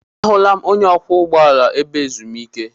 Ahụla m onye ọkwọ ụgbọala ebe ezumike.